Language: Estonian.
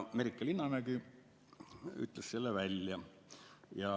Merike Linnamägi ütles selle välja.